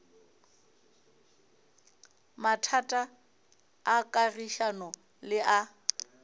mathata a kagišano le a